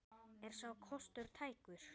Er sá kostur tækur?